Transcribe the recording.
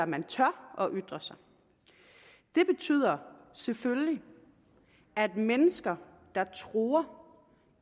man tør ytre sig det betyder selvfølgelig at mennesker der truer